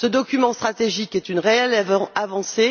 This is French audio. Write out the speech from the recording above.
Ce document stratégique est une réelle avancée.